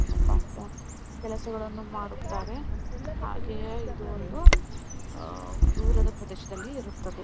ಕೆಲಸಗಳನ್ನು ಮಾಡುತ್ತಾರೆ ಹಾಗೆಯೇ ಇದು ಒಂದು ಅಹ್ ದೂರದ ಪ್ರದೇಶದಲ್ಲಿ ಇರುತ್ತದೆ .